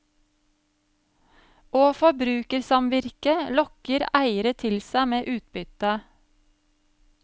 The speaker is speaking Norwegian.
Og forbrukersamvirke lokker eiere til seg med utbytte.